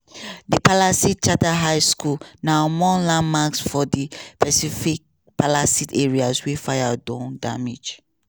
di palisades charter high school na among landmarks for di pacific palisades area wey fire don damage.